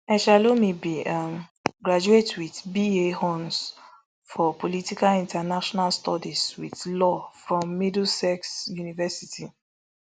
eshalomi bin um graduate wit ba hons for political international studies wit law from middlesex university